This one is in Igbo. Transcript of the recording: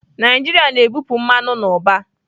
Naijiria na-ebupụ mmanụ n'ụba.